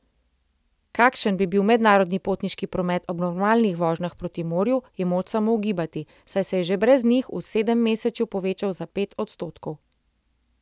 Kakšen bi bil mednarodni potniški promet ob normalnih vožnjah proti morju je moč samo ugibati, saj se je že brez njih v sedemmesečju povečal za pet odstotkov.